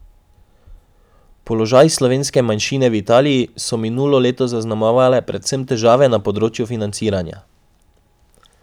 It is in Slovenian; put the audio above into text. Položaj slovenske manjšine v Italiji so minulo leto zaznamovale predvsem težave na področju financiranja.